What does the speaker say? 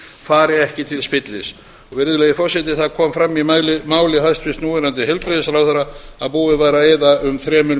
fari ekki til spillis virðulegi forseti það kom fram í máli hæstvirts núverandi heilbrigðisráðherra að búið væri að eyða um þremur